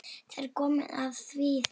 Það er komið að því.